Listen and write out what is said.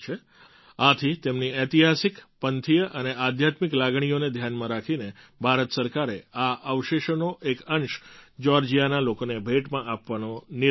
આથી તેમની ઐતિહાસિક પંથીય અને આધ્યાત્મિક લાગણીઓને ધ્યાનમાં રાખીને ભારત સરકારે આ અવશેષોનો એક અંશ જ્યૉર્જિયાના લોકોને ભેટમાં આપવાનો નિર્ણય કર્યો